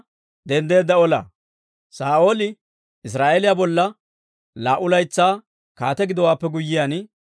Saa'ooli Israa'eeliyaa bolla laa"u laytsaa kaate gidowaappe guyyiyaan,